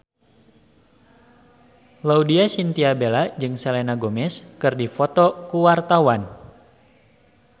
Laudya Chintya Bella jeung Selena Gomez keur dipoto ku wartawan